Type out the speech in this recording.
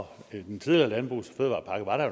og i den tidligere landbrugs og fødevarepakke var der